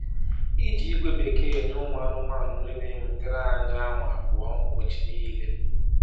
Iji ígwè bekee eṅye ụmụ anụmanụ nri na ewetere anyị awa abụọ ụbọchị niile